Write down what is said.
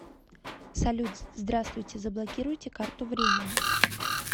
салют здраствуйте заблокируйте карту временно